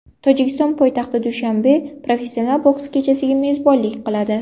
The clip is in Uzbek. Tojikiston poytaxti Dushanbe professional boks kechasiga mezbonlik qiladi.